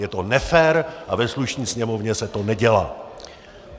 Je to nefér a ve slušné sněmovně se to nedělá.